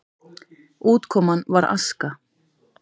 Útkoman var aska.